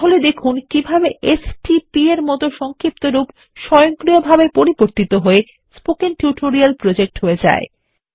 তাহলে দেখুন কিভাবে এসটিপি এর মত একটি সংক্ষিপ্তরূপ স্বয়ংক্রিয়ভাবে পরিবর্তিত হয়ে স্পোকেন টিউটোরিয়াল প্রজেক্ট এ হয়ে যায়